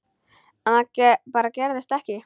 En það bara gerðist ekki.